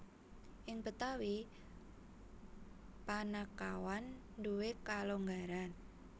Ing Betawi panakawan nduwé kalonggaran